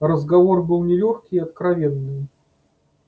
разговор был нелёгкий и откровенный